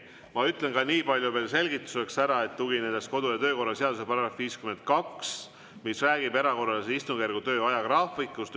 Ma ütlen nii palju veel selgituseks ära, et tugineme kodu‑ ja töökorra seaduse §‑le 52, mis räägib erakorralise istungjärgu töö ajagraafikust.